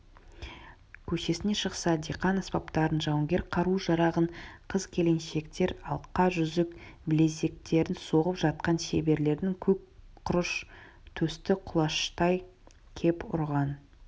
көшесіне шықса диқан аспаптарын жауынгер қару-жарағын қыз-келіншектер алқа-жүзік білезіктерін соғып жатқан шеберлердің көк құрыш төсті құлаштай кеп ұрған